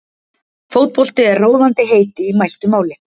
fótbolti er ráðandi heiti í mæltu máli